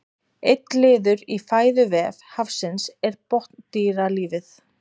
einn liður í fæðuvef hafsins er botndýralífið